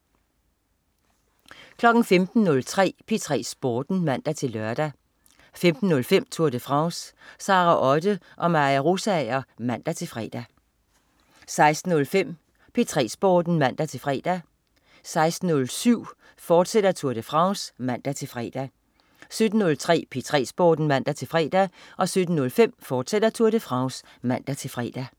15.03 P3 Sporten (man-lør) 15.05 Tour de France. Sara Otte og Maja Rosager (man-fre) 16.05 P3 Sporten (man-fre) 16.07 Tour de France, fortsat (man-fre) 17.03 P3 Sporten (man-fre) 17.05 Tour de France, fortsat (man-fre)